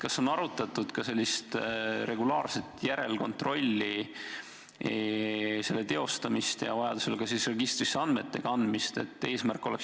Kas on arutatud ka sellist regulaarset järelkontrolli, selle teostamist ja vajaduse korral andmete registrisse kandmist?